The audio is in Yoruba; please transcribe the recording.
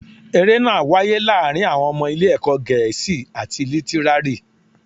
Eré náà wáyé láàárín àwọn ọmọ ilé ẹ̀kọ́ Gẹ̀ẹ́sì àti Lítírárì